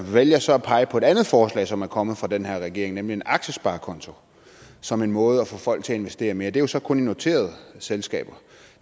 vælger så at pege på et andet forslag som er kommet fra den her regering nemlig en aktiesparekonto som en måde at få folk til at investere mere det er jo så kun i noterede selskaber